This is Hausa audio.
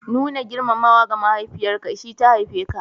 Nuna girmamawa ga mahaifiyarka, sha ta haife ka.